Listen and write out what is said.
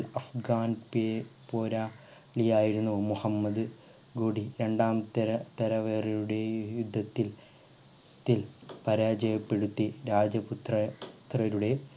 ഘാൻ പേ പുര ളിയായിരുന്നു മുഹമ്മദ് കൂടി രണ്ടാമത്തെ തര തലവറയുടെ യുദ്ധത്തിൽ ത്തിൽ പരാജയപ്പെടുത്തി രാജ്യ പുത്ര പുത്രരുടെ